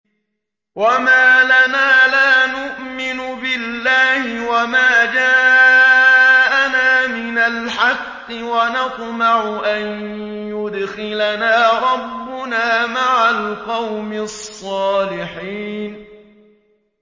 وَمَا لَنَا لَا نُؤْمِنُ بِاللَّهِ وَمَا جَاءَنَا مِنَ الْحَقِّ وَنَطْمَعُ أَن يُدْخِلَنَا رَبُّنَا مَعَ الْقَوْمِ الصَّالِحِينَ